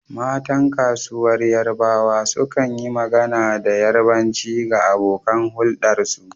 Matan kasuwar yarbawa sukan yi magana da Yarbanci ga abokan huldarsu.